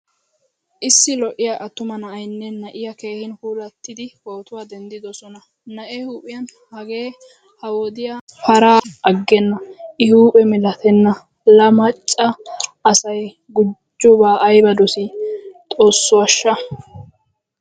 Issi lo'iyaa attumaa na'aynne na'iyaa keehin puulattidi pootuwaa denddidosona. Na'ee huuphphiyan hagee ha wodiyaa paraa ikise de'enan agena i huuphphe milattena. La macca asay gujjoba ayba dosi? Xoosso ashsha!